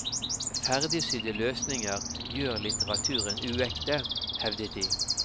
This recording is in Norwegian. Ferdigsydde løsninger gjør litteraturen uekte, hevdet de.